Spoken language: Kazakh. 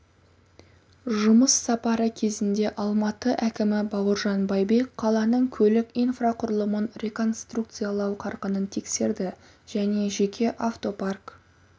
жұмыс сапары кезінде алматы әкімі бауыржан байбек қаланың көлік инфрақұрылымын реконструкциялау қарқынын тексерді және жеке автопарк